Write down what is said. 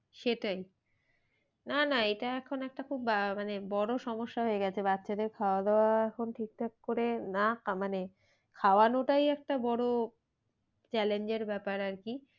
সেটাই না না এটা এখন একটা খুব আহ মানে বড়ো সমস্যা হয়ে গেছে বাচ্চাদের খাওয়া দাওয়া এখন ঠিক ঠাক করে না মানে খাওয়ানোটাই একটা বড়ো challenge এর ব্যাপার আর কি?